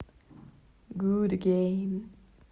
гуд гейм